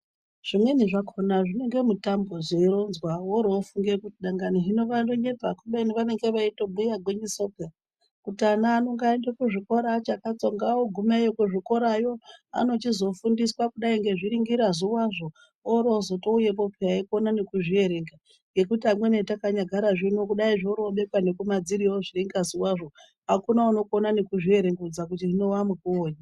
Zvimweni zvakona zvinenge mutambo zveironzwa woorowofunge kuti dangani hino anonyepa kubeni vanenge veitobhuye gwinyiso peya kuti ana ano ngaaende kuzvikora achakanzonga ogumeyo kuzvikora yo anochizofundiswa kudai ngezviringirazuwa zvo orozotouyepo peya eikona nekuzvierenga ngekuti amweni hetakanyagara zvino kudai zvoorobekwa nekumadziroyo zviringazuwa zvo akuna unokonanekuzvierekedza kuti hino wamukuwonyi.